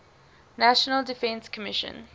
national defense commission